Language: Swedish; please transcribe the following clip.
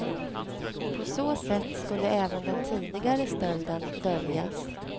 På så sätt skulle även den tidigare stölden döljas.